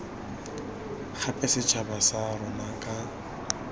gape setšhaba sa rona ka